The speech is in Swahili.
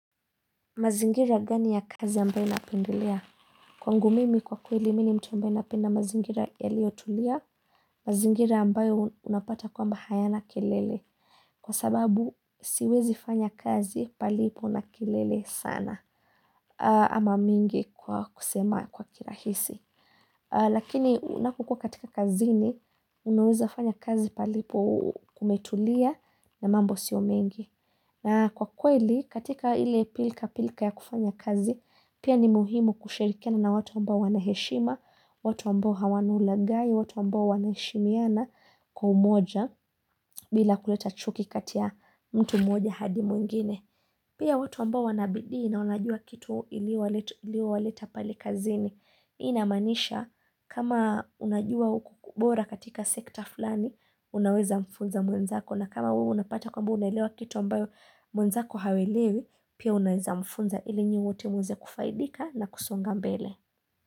Mazingira gani ya kazi ambayo ninapendelea? Kwangu mimi kwa kweli, mimi ni mtu ambayo napenda mazingira yaliyotulia, mazingira ambayo unapata kwamba hayana kelele. Kwa sababu, siwezi fanya kazi palipo na kelele sana ama mingi kwa kusema kwa kirahisi. Lakini, unapokua katika kazini, unaweza fanya kazi palipo kumetulia na mambo sio mengi. Na kwa kweli katika ile pilika pilika ya kufanya kazi pia ni muhimu kushirikiana na watu ambao wana heshima, watu ambao hawana ulaghai, watu ambao wanaheshimiana kwa umoja bila kuleta chuki kati ya mtu mmoja hadi mwingine. Pia watu mbao wanabidii na wanajua kitu iliowaleta pale kazini. Hii inamaanisha kama unajua ubora katika sekta fulani, unaweza mfunza mwenzako. Na kama wewe unapata kwamba unaelewa kitu ambao mwenzako hawaelewi, pia unawemfunza ili nyinyi wote muweze kufaidika na kusonga mbele.